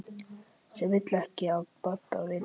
Sem vill ekki af Badda vita.